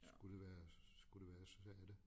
Skulle det være skulle det være så sagde jeg det